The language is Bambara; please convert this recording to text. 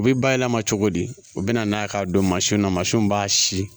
U bɛ bayɛlɛma cogo di u bɛna n'a ye k'a don mansinw na mansinw b'a si